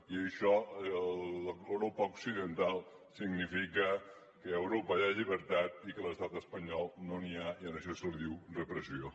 i això a l’europa occidental significa que a europa hi ha llibertat i que a l’estat espanyol no n’hi ha i d’això se’n diu repressió